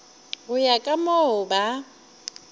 go ya ka moo ba